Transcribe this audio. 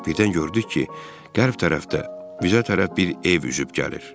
Birdən gördük ki, qərb tərəfdə bizə tərəf bir ev üzüb gəlir.